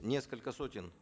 несколько сотен